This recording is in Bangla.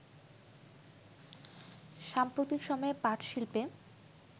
সাম্প্রতিক সময়ে পাটশিল্পে